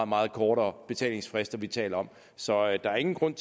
meget kortere betalingsfrister vi taler om så der er ingen grund